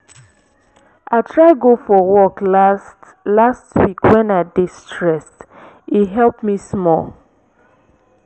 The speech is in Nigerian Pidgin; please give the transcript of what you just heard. i try go for walk last last week wen i dey stressed e help me small.